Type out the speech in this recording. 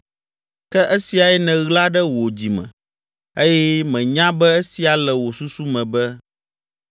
“ ‘Ke esiae nèɣla ɖe wò dzi me eye menya be esia le wò susu me be,